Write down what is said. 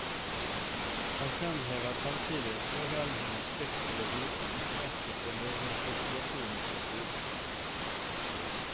Han fremhever samtidig foreldrenes plikt til å vise interesse for deres situasjon på skolen.